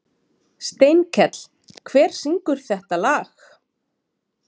Steinkell, hver syngur þetta lag?